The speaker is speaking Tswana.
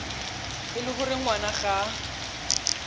e le gore ngwana ga